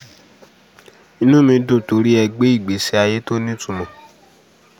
inú mi dùn torí ẹ gbé ìgbésí ayé tó nítumọ̀